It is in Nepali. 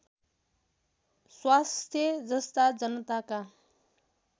स्वास्थ्य जस्ता जनताका